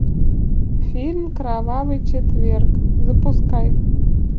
фильм кровавый четверг запускай